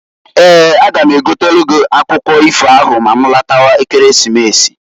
Eeǃ A ga m egotelu gị akwụkwụ ifo ahụ ma ma lọtawa Ekeresimesi.